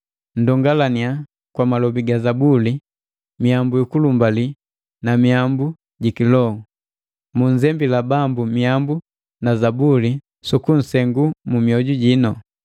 Nndongalannya kwa malobi ga Zabuli, miyambu yukulumbali na miambu ji kiloho; munzembila Bambu miyambu na Zabuli sukusengu mu mioju jinu.